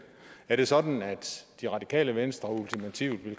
er det sådan at det radikale venstre ultimativt